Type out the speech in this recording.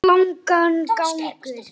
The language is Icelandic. Ég held nú það!